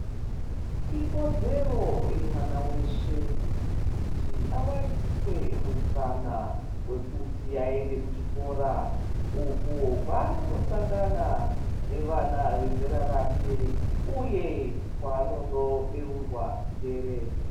Ikodzero yemwana weshe kuti awaniswe mukana wekuti aende kuchikora uko kwaanondo sangana nevana vezera rake uye kwaanono beurwa njere.